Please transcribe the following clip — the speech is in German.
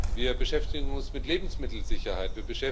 Wir beschäftigen uns mit Lebensmittelsicherheit.